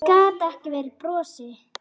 Gat ekki varist brosi.